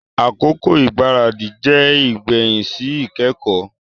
Akoko igbaradi jẹ igbẹhin si ikẹkọ.